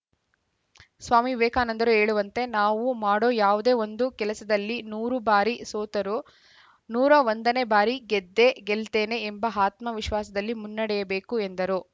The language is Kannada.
ಸ್ವಾಮಿ ವಿವೇಕಾನಂದರು ಹೇಳುವಂತೆ ನಾವು ಮಾಡೋ ಯಾವುದೋ ಒಂದು ಕೆಲಸದಲ್ಲಿ ನೂರು ಬಾರಿ ಸೋತರೂ ನೂರ ಒಂದನೇ ಬಾರಿ ಗೆದ್ದೆ ಗೆಲ್ತೇನೆ ಎಂಬ ಆತ್ಮವಿಶ್ವಾಸದಲ್ಲಿ ಮುನ್ನಡೆಯಬೇಕು ಎಂದರು